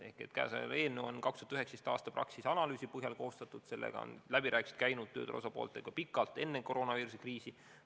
See eelnõu on Praxise 2019. aasta analüüsi põhjal koostatud ja selle üle on käinud läbirääkimised tööturu osapooltega pikalt enne koroonaviiruse kriisi.